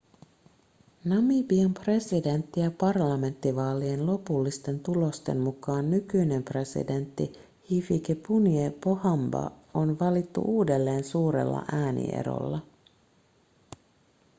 namibian presidentti- ja parlamenttivaalien lopullisten tulosten mukaan nykyinen presidentti hifikepunye pohamba on valittu uudelleen suurella äänierolla